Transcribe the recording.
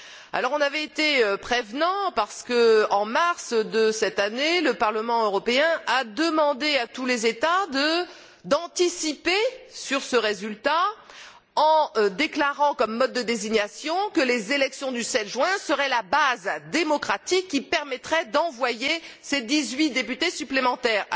Nous avions été prévoyants car, en mars de cette année, le Parlement européen avait demandé à tous les États d'anticiper sur ce résultat en déclarant comme mode de désignation que les élections du 7 juin seraient la base démocratique qui permettrait d'envoyer ces dix huit députés supplémentaires.